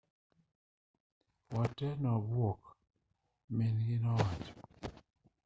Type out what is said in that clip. wa tee newabuok min-gi nowacho